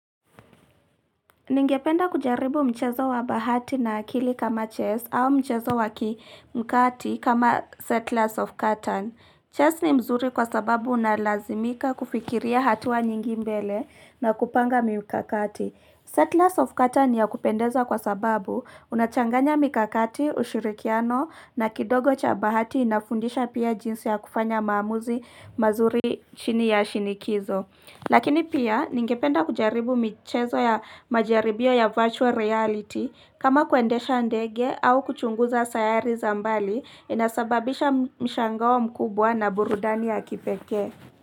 Ningependa kujaribu mchezo wa bahati na akili kama chess au mchezo wa kimkati kama settlers of cotton. Chess ni mzuri kwa sababu unalazimika kufikiria hatua nyingi mbele na kupanga mikakati. Settlers of cotton ni ya kupendeza kwa sababu unachanganya mikakati, ushirikiano na kidogo cha bahati inafundisha pia jinsi ya kufanya maamuzi mazuri chini ya shinikizo. Lakini pia ningependa kujaribu michezo ya majaribio ya virtual reality kama kuendesha ndege au kuchunguza sayari za mbali inasababisha mshangao mkubwa na burudani ya kipekee.